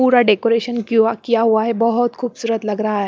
पूरा डेकोरेशन किया हुआ है बहुत खूबसूरत लग रहा है।